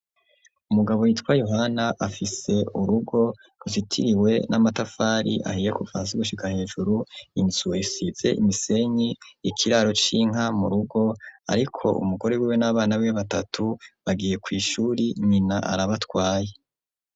Umugabo yitwa Yohana afise urugo ruzitiriwe n'amatafari ahiye kuva hasi gushika hejuru. Inzu isize imisenyi ikiraro c'inka mu rugo, ariko umugore wiwe n'abana biwe batatu bagiye kw'ishuri, nyina arabatwaye.